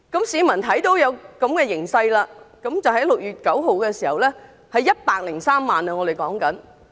市民看到這個形勢，在6月9日有103萬人上街。